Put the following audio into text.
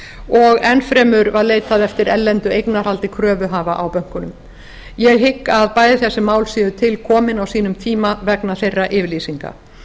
og enn fremur var leitað eftir erlendu eignarhaldi kröfuhafa á bönkunum ég hygg að bæði þessi mál séu til komin á sínum tíma vegna þeirra yfirlýsinga